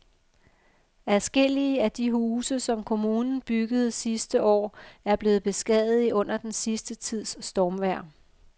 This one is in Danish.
Adskillige af de huse, som kommunen byggede sidste år, er blevet beskadiget under den sidste tids stormvejr.